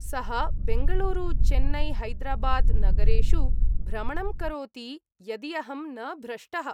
सः बेङ्गलूरुचेन्नैहैदराबाद् नगरेषु भ्रमणं करोति यदि अहं न भ्रष्टः।